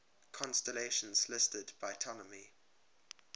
constellations listed by ptolemy